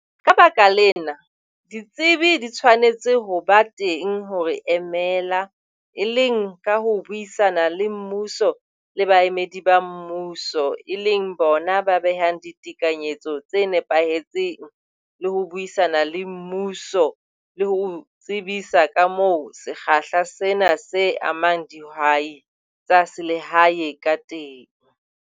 Ka baka lena, ditsebi di tshwanetse ho ba teng ho re emela, e leng ka ho buisana le mmuso le baemedi ba mmuso, e leng bona ba behang ditekanyetso tse nepahetseng le ho buisana le mmuso le ho o tsebisa ka moo sekgahla sena se amang dihwai tsa selehae ka teng.